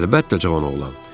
Əlbəttə cavan oğlan.